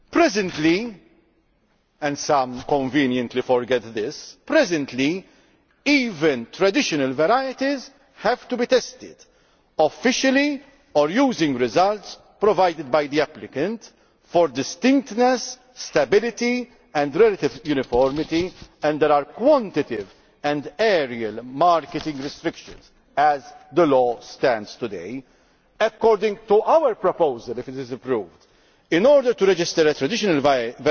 At present and some Members conveniently forget this even traditional varieties have to be tested, officially or using results provided by the applicant, for distinctness, stability and relative uniformity, and there are quantitative and areal marketing restrictions as the law stands today. According to our proposal if it is approved in order to register a traditional variety